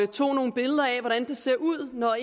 tog nogle billeder af hvordan der ser ud når